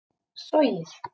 sogið